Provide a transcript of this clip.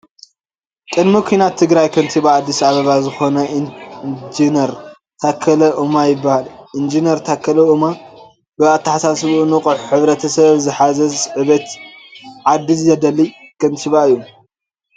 ቅድሚ ኩናት ትግራይ ከቲባ አዲስ ኣበባ ዝኮነ ኢንጅነር ታከለ ኡማ ይበሃል። ኢንጅነር ታኸለ ኦማ ብኣተሓሳስብኡ ንቁሕ፣ ሕብረተሰብ ዝሓስ ዕቤት ዓዲ ዘደሊ ከቲባ እዩ።